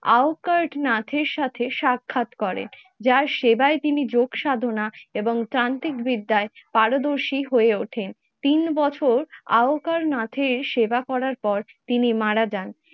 আওকার নাথের সাথে সাক্ষাৎ করেন, যার সেবায় তিনি যোগ সাধনা এবং তান্ত্রিক বিদ্যায় পারদর্শী হয়ে ওঠেন। তিন বছর আওকার নাথের সেবা করার পর তিনি মারা যান